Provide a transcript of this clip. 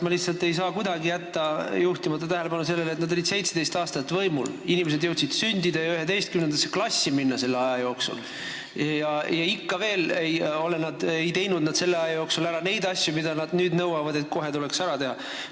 Ma lihtsalt ei saa kuidagi jätta juhtimata tähelepanu sellele, et nad olid 17 aastat võimul, inimesed jõudsid selle aja jooksul sündida ja 11. klassi minna, aga nad ei teinud selle aja jooksul ära neid asju, mille kohta nad nüüd nõuavad, et need tuleks kohe ära teha.